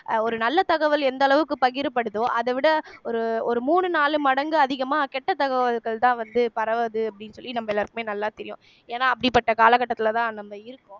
அஹ் ஒரு நல்ல தகவல் எந்த அளவுக்கு பகிரப்படுதோ அதவிட ஒரு ஒரு மூணு நாலு மடங்கு அதிகமா கெட்ட தகவல்கள்தான் வந்து பரவுது அப்படின்னு சொல்லி நம்ம எல்லாருக்குமே நல்லா தெரியும் ஏன்னா அப்படிப்பட்ட காலகட்டத்துலதான் நம்ம இருக்கோம்